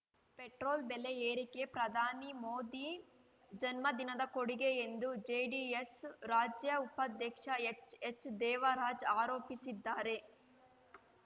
petrol ಬೆಲೆ ಏರಿಕೆ ಪ್ರಧಾನಿ ಮೋದಿ ಜನ್ಮದಿನದ ಕೊಡುಗೆ ಎಂದು ಜೆಡಿಎಸ್‌ ರಾಜ್ಯ ಉಪಾಧ್ಯಕ್ಷ ಎಚ್‌ಎಚ್‌ದೇವರಾಜ್‌ ಆರೋಪಿಸಿದ್ದಾರೆ